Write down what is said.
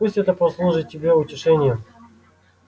пусть это послужит тебе утешением